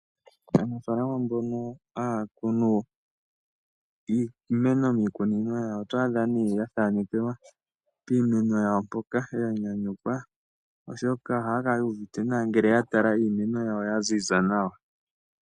Aanafaalama mbono haya kunu iimeno miikunino yawo, oto adha nee ya thaanekelwa piimeno yawo mpoka ya nyanyukwa, oshoka ohaya kala yu uvite nawa ngele ya tala iimeno yawo ya ziza nawa.